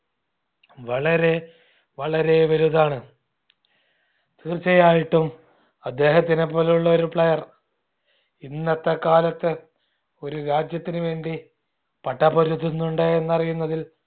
വളരെ വളരെ വലുതാണ് തീർച്ചയായിട്ടും അദ്ദേഹത്തിനെ പോലുള്ളൊരു player ഇന്നത്തെ കാലത്ത് ഒരു രാജ്യത്തിന് വേണ്ടി പടപൊരുതുന്നുണ്ട് എന്ന് അറിയുന്നതിൽ